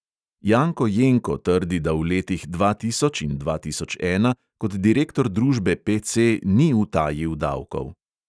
Janko jenko trdi, da v letih dva tisoč in dva tisoč ena kot direktor družbe PC ni utajil davkov.